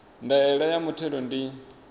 ya ndaela ya muthelo ndi